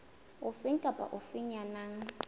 ofe kapa ofe ya nang